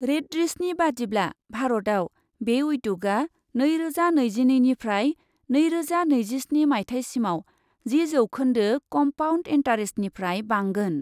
रेडसिरनि बादिब्ला, भारतआव बे उद्यगआ नैरोजा नैजिनैनिफ्राय नैरोजा नैजिस्नि माइथायसिमाव जि जौखोन्दो कम्पाउन्ड इन्टारेस्टनिफ्राय बांगोन।